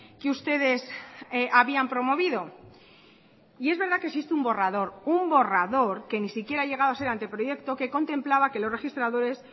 que ustedes habían promovido y es verdad que existe un borrador un borrador que ni siquiera ha llegado a ser anteproyecto que contemplaba que los registradores